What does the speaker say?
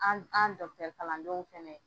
An an kalan denw fɛnɛ.